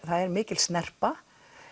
það er mikil snerpa